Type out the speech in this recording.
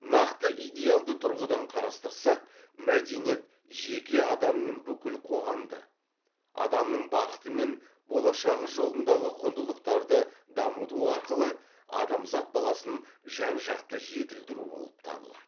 нақты идеалды тұрғыдан қарастырсақ мәдениет жеке адам мен бүкіл қоғамды адамның бақыты мен болашағы жолындағы құндылықтарды дамыту арқылы адамзат баласын жан жақты жетілдіру болып табылады